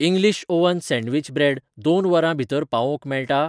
English oven sandwich bread दोन वरां भितर पावोवंक मेळटा?